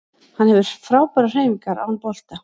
Hann hefur frábærar hreyfingar án bolta